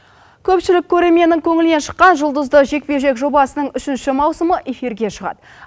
көпшілік көрерменнің көңілінен шыққан жұлдызды жекпе жек жобасының үшінші маусымы эфирге шығады